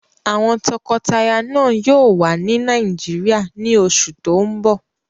Àwọn tọkọtaya náà yóò wà ní Nàìjíríyà ní oṣù tó n bọ̀